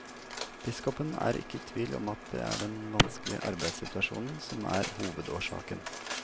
Biskopen er ikke i tvil om at det er den vanskelige arbeidssituasjonen som er hovedårsaken.